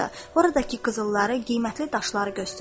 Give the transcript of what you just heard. Oradakı qızılları, qiymətli daşları göstərdi.